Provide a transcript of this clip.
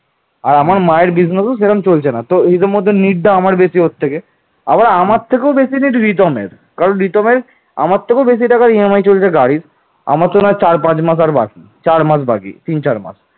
পাল রাজাগণ ছিলেন প্রথমত বৌদ্ধধর্মের মহাযান ও পরবর্তীতে তান্ত্রিক শাখার অনুসারী পাল বংশীয় রাজাগণ উত্তর ভারতের রাজনৈতিক কেন্দ্রভূমি কনৌজ দখলের জন্য রাজপুতানার গুর্জর এবং দক্ষিণ ভারতের রাষ্ট্রকূটদের সাথে এক প্রচণ্ড যুদ্ধে লিপ্ত হন